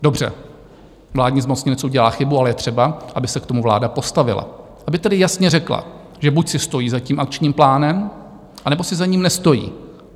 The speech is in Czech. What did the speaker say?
Dobře, vládní zmocněnec udělá chybu, ale je třeba, aby se k tomu vláda postavila, aby tedy jasně řekla, že buď si stojí za tím Akčním plánem, anebo si za ním nestojí.